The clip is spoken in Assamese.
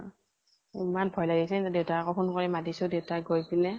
ইমান ভয় লাগিছে, দেউতাক আকৌ phone কৰি মাতিছো । দেউতা গৈ পিনে